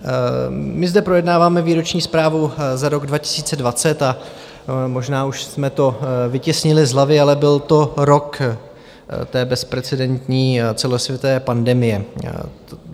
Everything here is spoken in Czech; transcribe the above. My zde projednáváme výroční zprávu za rok 2020 a možná už jsme to vytěsnili z hlavy, ale byl to rok té bezprecedentní celosvětové pandemie.